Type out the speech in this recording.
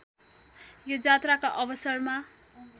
यो जात्राका अवसरमा